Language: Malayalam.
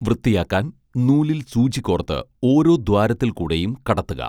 വൃത്തിയാക്കാൻ നൂലിൽ സൂചി കോർത്ത് ഓരോ ദ്വാരത്തിൽ കൂടെയും കടത്തുക